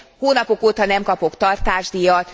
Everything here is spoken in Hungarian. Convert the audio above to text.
Hónapok óta nem kapok tartásdíjat.